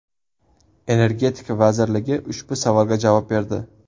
Energetika vazirligi ushbu savolga javob berdi .